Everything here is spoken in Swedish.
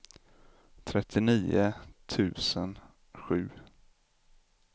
trettionio tusen sju